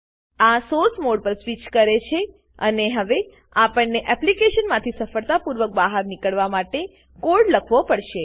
આ source mode પર switch કરે છે અને હવે આપણને એપ્લીકેશનમાંથી સફળતાપૂર્વક બહાર નીકળવા માટે કોડ લખવો પડશે